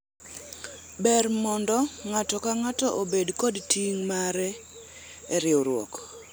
ber mondo ng'ato ka ng'ato obed kod ting' mare e riwruok